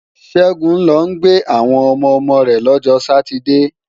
Ṣẹ́gun ń lọ gbé àwọn ọmọ-ọmọ rẹ̀ lọ́jọ sátidée